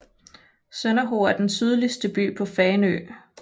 Sønderho er den sydligste by på Fanø med